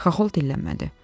Xaxol dillənmədi.